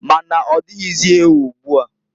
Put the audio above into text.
Ma na-ọdịghịzị ewu ugboa.